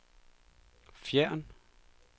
fjern